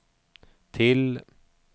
till